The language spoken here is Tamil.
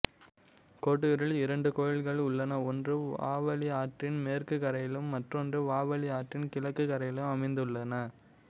கொட்டியூரில் இரண்டு கோயில்கள் உள்ளன ஒன்று வாவலி ஆற்றின் மேற்குக் கரையிலும் மற்றொன்று வாவலி ஆற்றின் கிழக்குக் கரையிலும் அமைந்துள்ளன